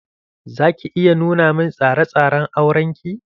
Za ki iya nuna min tsare tsare n auren ki?